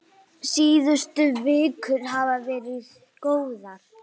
Síðustu vikur hafa verið góðar.